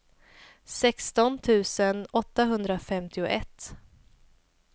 sexton tusen åttahundrafemtioett